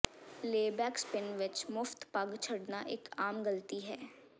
layback spin ਵਿੱਚ ਮੁਫਤ ਪਗ ਛੱਡਣਾ ਇੱਕ ਆਮ ਗਲਤੀ ਹੈ